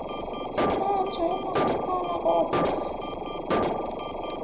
impatho yomasipala kodwa